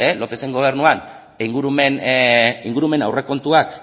lopezen gobernuan ingurumen aurrekontuak